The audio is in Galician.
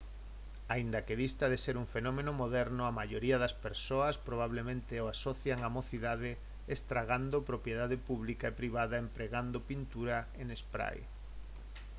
aínda que dista de ser un fenómeno moderno a maioría das persoas probablemente o asocian á mocidade estragando propiedade pública e privada empregando pintura en spray